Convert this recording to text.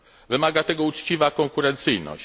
Wymaga tego uczciwa konkurencyjność.